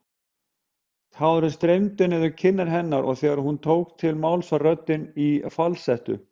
Tárin streymdu niður kinnar hennar og þegar hún tók til máls var röddin í falsettu.